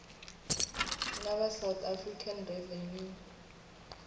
na va south african revenue